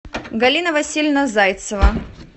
галина васильевна зайцева